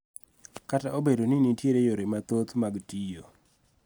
Kata obedo ni nitie yore mathoth mag tiyo.